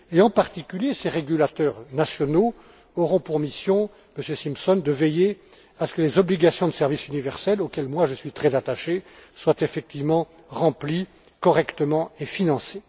En particulier, ces régulateurs nationaux auront pour mission, Monsieur Simpson, de veiller à ce que les obligations de service universel, auxquelles je suis très attaché, soient effectivement remplies correctement et financées.